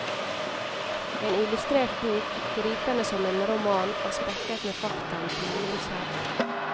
En illustrert bok, gripende som en roman og spekket med fakta om pilegrimsferd.